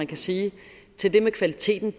kan sige til det med kvaliteten